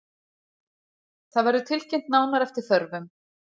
Það verður tilkynnt nánar eftir þörfum